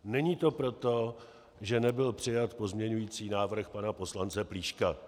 Není to proto, že nebyl přijat pozměňující návrh pana poslance Plíška.